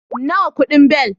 Nawa kudin beli?